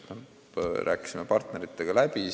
Me rääkisime selle partneritega läbi.